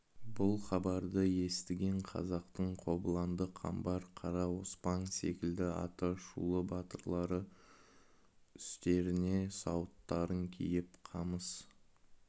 бұл хабарды естіген қазақтың қобыланды қамбар қара оспан секілді аты шулы батырлары үстеріне сауыттарын киіп қамыс